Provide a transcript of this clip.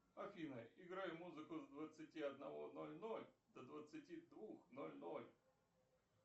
афина играй музыку с двадцати одного ноль ноль до двадцати двух ноль ноль